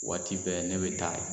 Waati bɛɛ ne be taa